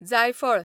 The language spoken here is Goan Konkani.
जायफळ